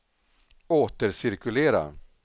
återcirkulera